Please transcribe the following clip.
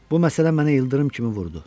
Bu məsələ mənə ildırım kimi vurdu.